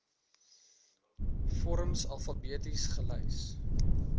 vorms alfabeties gelys